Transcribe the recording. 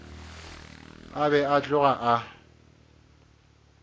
a be a tloga a